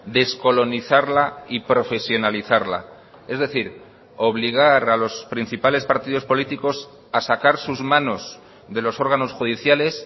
descolonizarla y profesionalizarla es decir obligar a los principales partidos políticos a sacar sus manos de los órganos judiciales